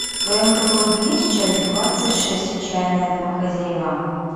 в твоем каталоге есть часть двадцать шесть отчаянные домохозяева